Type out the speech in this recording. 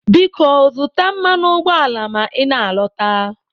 Biko zụta mmanụ ụgbọala ma ị na-alọta.